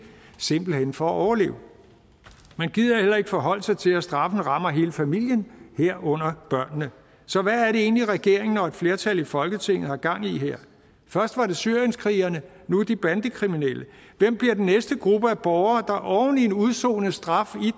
simpelt hen for at overleve man gider heller ikke forholde sig til at straffen rammer hele familien herunder børnene så hvad er det egentlig regeringen og et flertal i folketinget har gang i her først var det syrienskrigerne nu er det de bandekriminelle hvem bliver den næste gruppe af borgere der oven i en udsonet straf